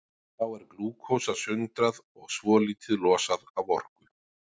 Þá er glúkósa sundrað og svolítið losað af orku.